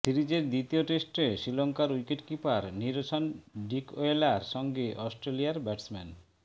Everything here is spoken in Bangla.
সিরিজের দ্বিতীয় টেস্টে শ্রীলঙ্কার উইকেটকিপার নিরোশান ডিকওয়েলার সঙ্গে অস্ট্রেলিয়ার ব্যাটসম্যান